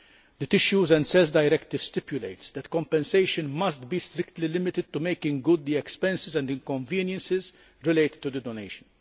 The Tissues and Cells Directive stipulates that compensation must be strictly limited to making good the expenses and inconveniences related to the donation.